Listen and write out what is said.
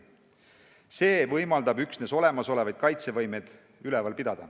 See võimaldab üksnes olemasolevaid kaitsevõimeid hoida.